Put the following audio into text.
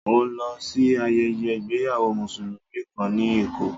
Mo lọ sí ayẹyẹ ìgbéyàwó Mùsùlùmí kàn ní Èkó.